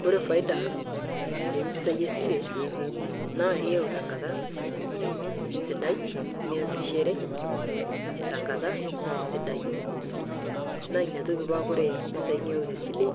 Kore faida empisai esilee naa iyau tenkataa sidai niasisheree tankata sidai naa inia tokii paa Kore pesai niyau tesilee